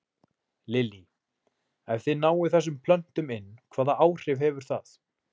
Lillý: Ef þið náið þessum plöntum inn, hvaða áhrif hefur það?